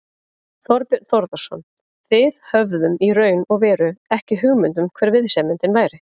Þorbjörn Þórðarson: Þið höfðum í raun og veru ekki hugmynd um hver viðsemjandinn væri?